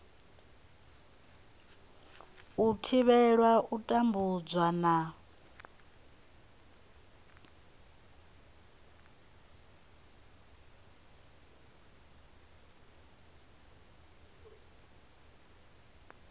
u thivhela u tambudzwa na